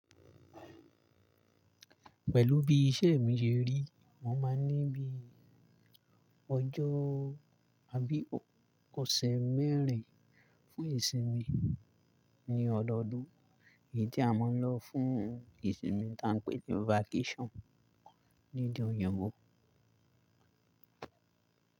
Pẹ̀lú bí iṣẹ́ mi ṣe rí, mo máa ń ní bí i ọjọ́ àbí ọ̀sẹ̀ mẹ́rin fún ìsinmi ní ọdọọdún. Èyí tí a máa ń lọ fún ìsinmi ta ń pè ní vacation lede òyìnbó.